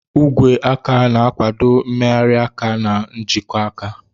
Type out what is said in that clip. Ogwe aka na-akwado mmegharị aka na nkwojiaka.